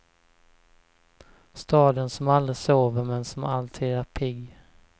Staden som aldrig sover men som alltid är pigg.